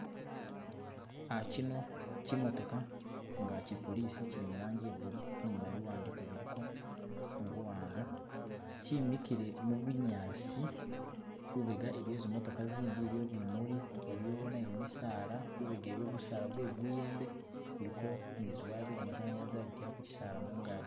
kyino kimotoka nga kye police kyili mulangi ye blue inyuma biwandiko biliko mubuwanga kyimikile mubunyasi lubega iliyo zimotoka zindi iliyo bimuli iliyo naye misaala lubega iliyo gusaala gwe guyembe guliko ni ziwaya zagamasanyalaze zabitila kukyisaala mugazi.